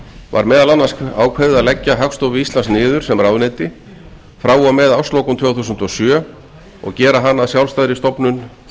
var meðal annars ákveðið að leggja hagstofu íslands niður sem ráðuneyti frá og með árslokum tvö þúsund og sjö og gera hana að sjálfstæðri stofnun